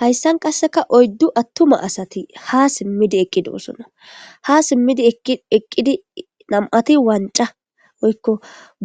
hayssan qasseka oyddu attuma asati ha simmidi eqqido osona ha simmidi eqqidi nam7ati wanca woykko